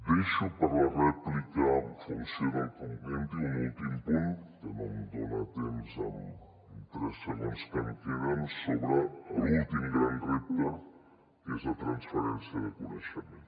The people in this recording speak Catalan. deixo per a la rèplica en funció del que em comenti un últim punt que no em dona temps amb tres segons que em queden sobre l’últim gran repte que és la transferència de coneixement